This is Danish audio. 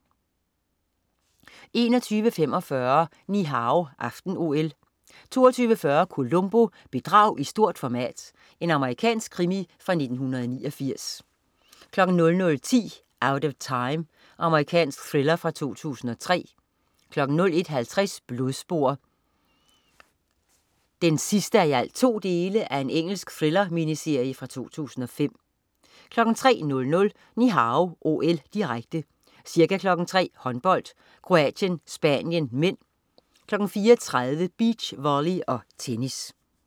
21.45 Ni Hao aften-OL 22.40 Columbo: Bedrag i stort format. Amerikansk krimi fra 1989 00.10 Out of Time. Amerikansk thriller fra 2003 01.50 Blodspor 2:2. Engelsk thriller-miniserie fra 2005 03.00 Ni Hao OL, direkte. Ca. kl. 3.00: Håndbold: Kroatien-Spanien (m), 4.30: Beach volley og tennis